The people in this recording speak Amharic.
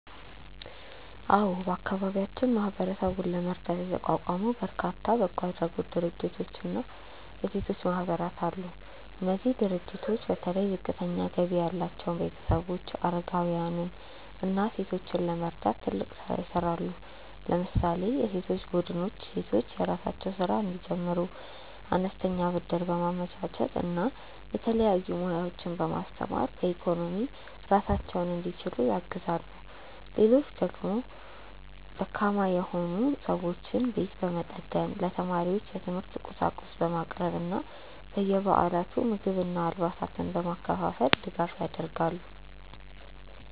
አዎ፣ በአካባቢያችን ማህበረሰቡን ለመርዳት የተቋቋሙ በርካታ በጎ አድራጎት ድርጅቶችና የሴቶች ማህበራት አሉ። እነዚህ ድርጅቶች በተለይ ዝቅተኛ ገቢ ያላቸውን ቤተሰቦች፣ አረጋውያንን እና ሴቶችን ለመርዳት ትልቅ ስራ ይሰራሉ። ለምሳሌ የሴቶች ቡድኖች ሴቶች የራሳቸውን ስራ እንዲጀምሩ አነስተኛ ብድር በማመቻቸት እና የተለያዩ ሙያዎችን በማስተማር በኢኮኖሚ ራሳቸውን እንዲችሉ ያግዛሉ። ሌሎች ድርጅቶች ደግሞ ደካማ የሆኑ ሰዎችን ቤት በመጠገን፣ ለተማሪዎች የትምህርት ቁሳቁስ በማቅረብ እና በየበዓላቱ ምግብና አልባሳትን በማከፋፈል ድጋፍ ያደርጋሉ።